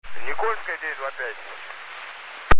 никольская девять два пять